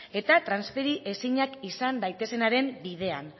eta transferi ezinak izan daitezenaren bidean